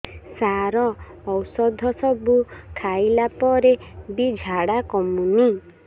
ସାର ଔଷଧ ସବୁ ଖାଇଲା ପରେ ବି ଝାଡା କମୁନି